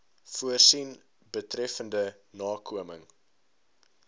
voorsien betreffende nakoming